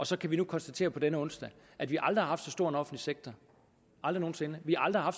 så kan vi nu konstatere på denne onsdag at vi aldrig har haft så stor en offentlig sektor aldrig nogen sinde at vi aldrig har